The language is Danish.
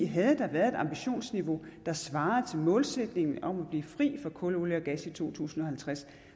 havde der været et ambitionsniveau der svarede til målsætningen om at blive fri for kul olie og gas i to tusind og halvtreds